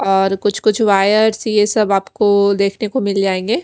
और कुछ-कुछ वायर ये सब आपको देखने को मिल जाएगा।